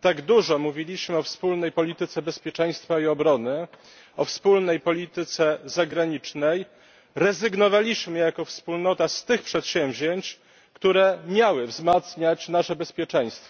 tak dużo mówiliśmy o wspólnej polityce bezpieczeństwa i obrony, o wspólnej polityce zagranicznej, rezygnowaliśmy jako wspólnota z tych przedsięwzięć, które miały wzmacniać nasze bezpieczeństwo.